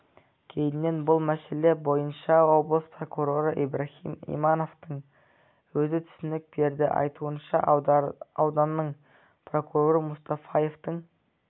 кейіннен бұл мәселе бойынша облыс прокуроры ибраһим имановтың өзі түсінік берді айтуынша ауданының прокуроры мұстафаевтың